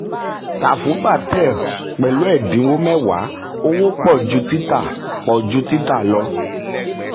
tà fun patel pẹ̀lú ẹ̀dínwó mẹ́wàá; owó pọ̀ ju tita pọ̀ ju tita lọ.